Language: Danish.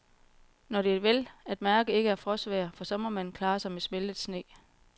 Når det vel at mærke ikke er frostvejr, for så må man klare sig med smeltet sne.